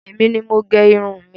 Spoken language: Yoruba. Èní ni mo gẹ irun mi.